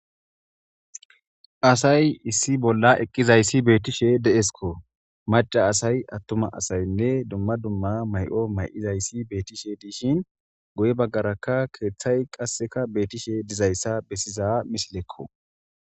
asay issi bolla eqqizayssi beettishe deesko maca asay attuma asaynne dumma dumma mayi'o mayi'izayssi beettishe diishin guye baggaraka keeththay qasseka beettishe dizayssa bessiza misilekko